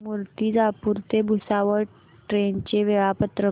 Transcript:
मूर्तिजापूर ते भुसावळ ट्रेन चे वेळापत्रक